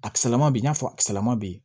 A kisɛlama bɛ yen i n'a fɔ a sirama bɛ yen